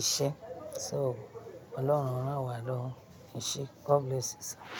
iṣẹ́ so Ọlọ́run rán wa lọ́wo, eṣẹ́, God bless you sir.